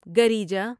گریجا